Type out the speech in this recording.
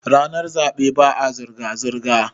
ranar zaɓe ba a zirga-zirga